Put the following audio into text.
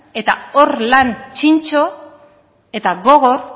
eta hor lan txintxo eta gogor